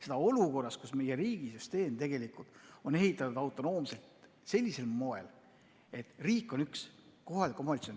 Seda olukorras, kus meie riigi süsteem on üles ehitatud autonoomselt, sellisel moel, et üks on riik, teine on kohalik omavalitsus.